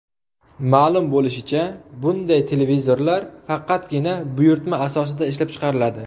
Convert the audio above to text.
Ma’lum bo‘lishicha, bunday televizorlar faqatgina buyurtma asosida ishlab chiqariladi.